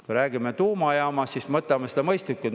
Kui räägime tuumajaamast, siis võtame seda mõistlikult.